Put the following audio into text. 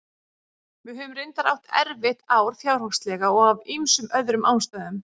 Við höfum reyndar átt erfitt ár fjárhagslega og af ýmsum öðrum ástæðum.